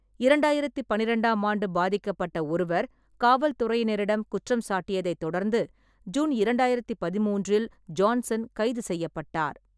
இரண்டாயிரத்து பன்னிரெண்டாம் ஆண்டு பாதிக்கப்பட்ட ஒருவர் காவல் துறையினரிடம் குற்றம் சாட்டியதைத் தொடர்ந்து ஜூன் இரண்டாயிரத்து பதிமூன்றில் ஜான்சன் கைது செய்யப்பட்டார்.